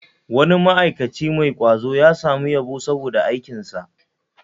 Wani ma'aikaci mai kwazo ya samu yabo saboda aikinsa